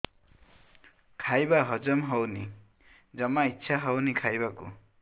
ଖାଇବା ହଜମ ହଉନି ଜମା ଇଛା ହଉନି ଖାଇବାକୁ